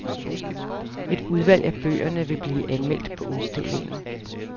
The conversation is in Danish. Et udvalg af bøgerne vil blive anmeldt på udstillingen.